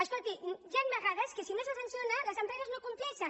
escolti hi han vegades que si no se sanciona les empreses no compleixen